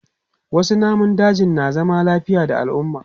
Wasu namun dajin na zama lafiya da al'umma.